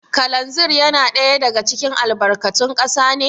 Kalanzir yana ɗaya daga cikin albarkatun kasa ne?